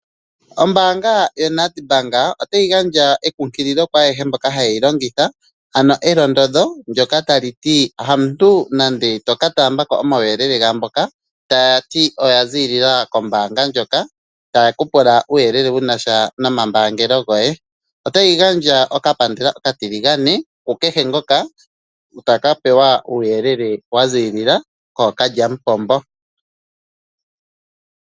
Ombaanga yoNEDBANK otayi gandja enkunkililo kwaayehe mboka hayeyi longitha ano elondodho ndjoka tali ti hamuntu nande toka taamba ko omauyelele gaamboka taya ti oya ziilila kombaanga ndjoka taye ku pula omauyelele goye otayi gandja okapandela oka tiligane kukehe ngoka taka adhika kookalya mupombo.